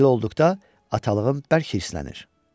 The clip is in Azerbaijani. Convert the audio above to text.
Belə olduqda atalığım bərk hirslənir.